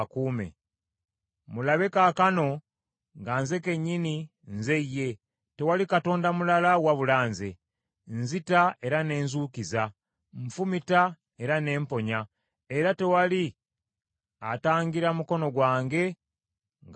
Mulabe kaakano, nga nze kennyini, nze Ye! Tewali katonda mulala wabula Nze; nzita era ne nzuukiza, nfumita era ne mponya; era tewali atangira mukono gwange nga gukola.